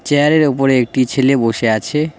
চেয়ারের ওপরে একটি ছেলে বসে আছে।